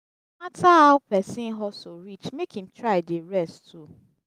no mata ow pesin hustle reach mek him try dey rest too